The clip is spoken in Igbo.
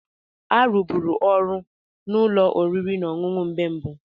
A rụgburum ọrụ na ụlọ oriri na ọṅụṅụ mgbe mbụ